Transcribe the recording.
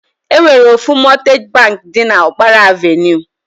E nwere ofu Mọtgej bank dị n'Ọkpara Avenue.